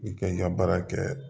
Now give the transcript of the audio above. I kɛ i ka baara kɛ